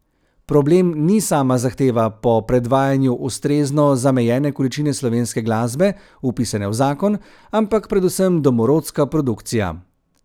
Problem ni sama zahteva po predvajanju ustrezno zamejene količine slovenske glasbe, vpisane v zakon, ampak predvsem domorodska produkcija.